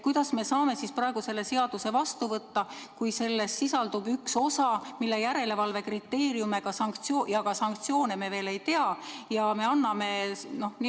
Kuidas me saame praegu selle eelnõu seadusena vastu võtta, kui selles sisaldub üks osa, mille järelevalve kriteeriume ja ka sanktsioone me veel ei tea?